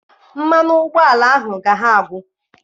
Mmanụ ụgbọala ahụ ga ha agwụ.